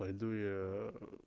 пойду я